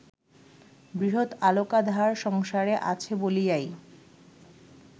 বৃহৎ আলোকাধার সংসারে আছে বলিয়াই